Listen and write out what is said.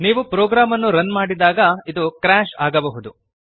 ನೀವು ಪ್ರೋಗ್ರಾಮ್ ಅನ್ನು ರನ್ ಮಾಡಿದಾಗ ಇದು ಕ್ರಾಶ್ ಕ್ರ್ಯಾಶ್ ಆಗಬಹುದು